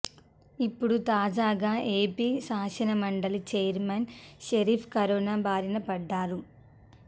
ఇప్పుడు తాజాగా ఏపీ శాసనమండలి చైర్మన్ షరీఫ్ కరోనా బారిన పడ్డారు